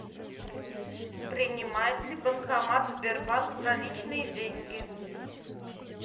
принимает ли банкомат сбербанк наличные деньги